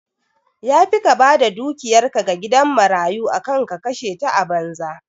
Yafi ka bada dukiyar ka ga gidan marayu akan ka kashe ta a banza